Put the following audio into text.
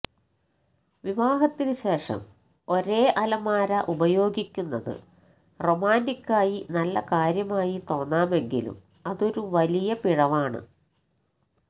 വിവാഹത്തിന് ശേഷം ഒരേ അലമാര ഉപയോഗിക്കുന്നത് റൊമാന്റിക്കായി നല്ല കാര്യമായി തോന്നാമെങ്കിലും അതൊരു വലിയ പിഴവാണ്